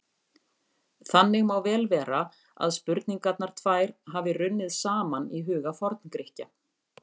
Þannig má vel vera að spurningarnar tvær hafi runnið saman í huga Forngrikkja.